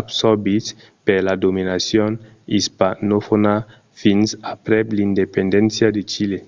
absorbits per la dominacion ispanofòna fins aprèp l'independéncia de chile